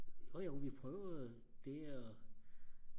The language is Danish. jojo vi prøvede det og